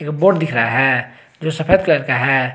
एक बोर्ड दिख रहा है जो सफेद कलर का है।